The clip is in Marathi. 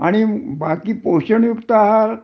आणि पोषण युक्त आहार